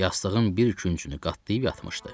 Yastığın bir küncünü qatlayıb yatmışdı.